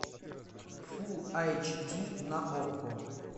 фул айч ди на окко